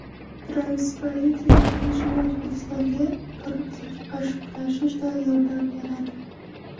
Transparency International O‘zbekistonga korrupsiyaga qarshi kurashishda yordam beradi.